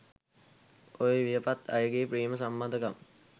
ඔය වියපත් අයගේ ප්‍රේම සම්බන්ධකම්